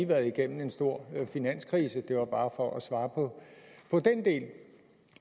været igennem en stor finanskrise det var bare for at svare på den del